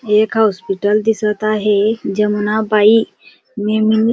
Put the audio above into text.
एक हॉस्पिटल दिसत आहे जमुनाबाई नेम--